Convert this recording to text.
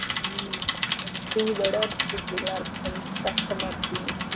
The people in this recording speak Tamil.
ம் கஷ்டமா இருக்கம்